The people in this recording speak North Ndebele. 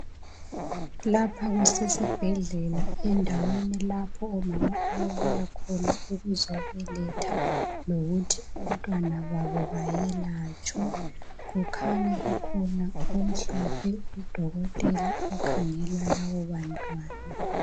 Lapha kusesibhedlela endaweni lapho omama ababuya khona ukuzobeletha lokuthi abantwana babo bayelatshwe. Kukhanya kukhona omhlophe udokotela okhangela labo bantwana.